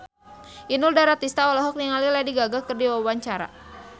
Inul Daratista olohok ningali Lady Gaga keur diwawancara